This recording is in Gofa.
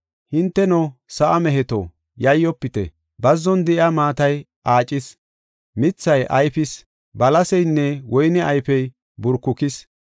Hinteno sa7aa meheto, yayyofite; bazzon de7iya maatay aacis. Mithay ayfis; balaseynne woyne ayfey burkukis.